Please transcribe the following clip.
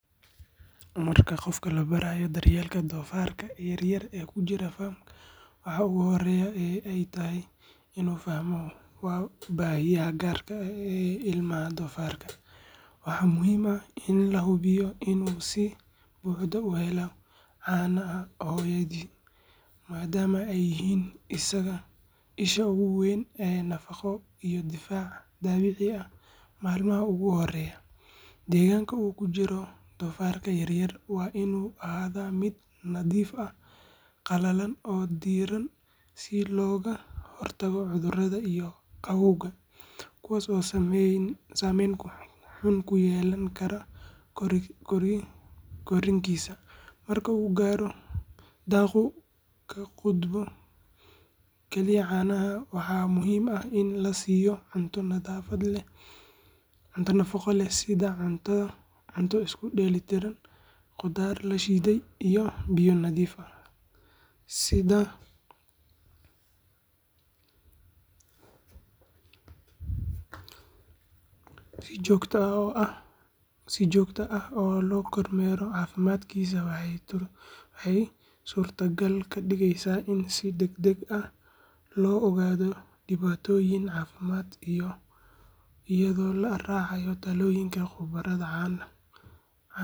Marka qof la barayo daryeelka doofaarka yaryar ee ku jira farm, waxa ugu horreeya ee ay tahay inuu fahmo waa baahiyaha gaarka ah ee ilmaha doofaarka. Waxaa muhiim ah in la hubiyo inuu si buuxda u helayo caanaha hooyadii, maadaama ay yihiin isha ugu weyn ee nafaqo iyo difaac dabiici ah maalmaha ugu horreeya. Deegaanka uu ku jiro doofaarka yaryar waa inuu ahaadaa mid nadiif ah, qalalan, oo diirran, si looga hortago cudurrada iyo qabowga, kuwaas oo saameyn xun ku yeelan kara korriinkiisa. Marka uu gaaro da’ uu ka gudbo kaliya caanaha, waxaa muhiim ah in la siiyo cunto nafaqo leh sida cunto isku dheelitiran, qudaar la shiiday, iyo biyo nadiif ah. Si joogto ah loo kormeero caafimaadkiisa waxay suurtagal ka dhigeysaa in si degdeg ah loo ogaado dhibaatooyin caafimaad, iyadoo la raacayo talooyinka khubarada.